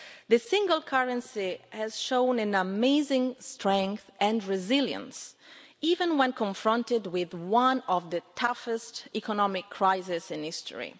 the single currency has shown amazing strength and resilience, even when confronted with one of the toughest economic crises in history.